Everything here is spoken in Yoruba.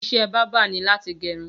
Iṣẹ̀ bàbà ni làtí gẹrún